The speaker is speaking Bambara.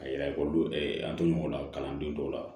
A yira ekɔliden an to ɲɔgɔn na kalanden dɔw la